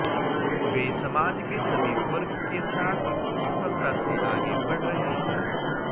वे समाज के सभी वर्ग के साथ सफलता से आगे बढ़ रहे हैं